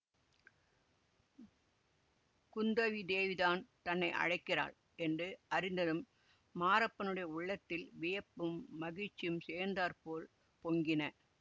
குந்தவி தேவிதான் தன்னை அழைக்கிறாள் என்று அறிந்ததும் மாரப்பனுடைய உள்ளத்தில் வியப்பும் மகிழ்ச்சியும் சேர்ந்தாற்போல் பொங்கின